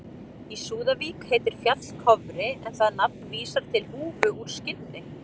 Í Súðavík heitir fjall Kofri en það nafn vísar til húfu úr skinni.